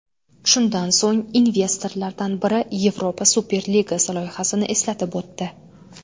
Shundan so‘ng investorlardan biri Yevropa Superligasi loyihasini eslatib o‘tdi.